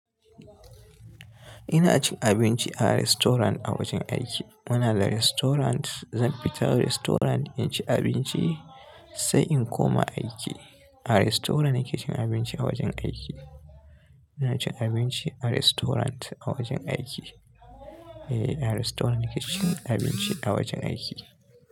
Ina cin abinci a restaurant a wajen aiki. Muna da restaurant, zan fita restaurant in ci abinci sai in koma aiki. A restaurant ne ke cin abinci a wajen aiki. Ina cin abinci a restaurant a wajen aiki. Eh, a restaurant ne ke cin abinci a wajen aiki.